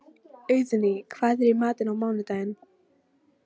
Auðný, hvað er í matinn á mánudaginn?